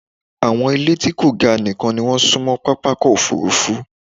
Àwọn ìlé tí kò ga nìkan ni wọ́n súnmọ́ pápákọ̀-òfurufú.